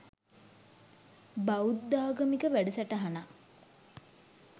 බෞද්ධාගමික වැඩසටහනක්